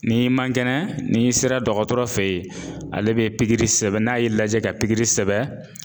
N'i man kɛnɛ n'i sera dɔgɔtɔrɔ fe ye ale bɛ pikiri sɛbɛn n'a y'i lajɛ ka pikiri sɛbɛn